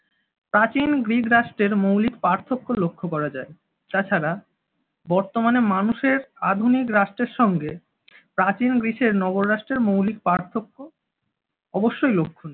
প্রাচীন গ্রিক রাষ্ট্রের মৌলিক পার্থক্য লক্ষ করা যায়। তাছাড়া বর্তমানে মানুষের আধুনিক রাষ্ট্রের সঙ্গে প্রাচীন গ্রিসের নগররাষ্ট্রের মৌলিক পার্থক্য অবশ্যই লক্ষ।